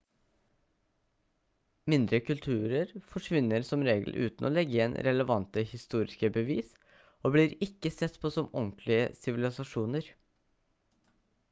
mindre kulturer forsvinner som regel uten å legge igjen relevante historiske bevis og blir ikke sett på som ordentlige sivilisasjoner